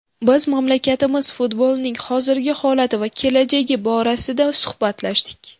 Biz mamlakatimiz futbolining hozirgi holati va kelajagi borasida suhbatlashdik.